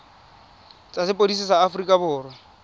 tsa sepodisi sa aforika borwa